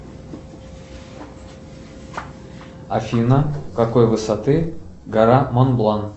афина какой высоты гора монблан